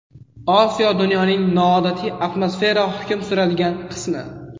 Osiyo dunyoning noodatiy atmosfera hukm suradigan qismi.